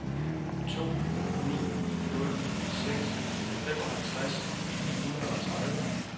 to ni nul seks femoghalvtreds ni hundrede og tredive